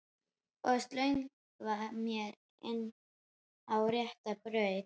Og slöngva mér inn á rétta braut.